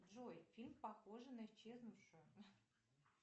джой фильм похожий на исчезнувшую